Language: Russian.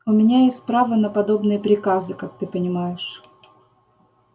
у меня есть право на подобные приказы как ты понимаешь